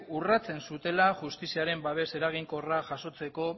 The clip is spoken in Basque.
urratzen zutela justiziaren babes eraginkorra jasotzeko